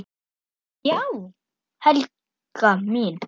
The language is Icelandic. Já já, Helga mín.